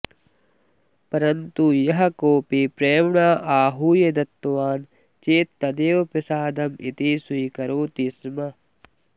परन्तु यः कोऽपि प्रेम्णा आहूय दत्तवान् चेत् तदेव प्रसादमिति स्वीकरोति स्म